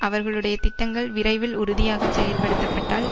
அவர்களுடைய திட்டங்கள் விரைவில் உறுதியாக செயல்படுத்தப்பட்டால்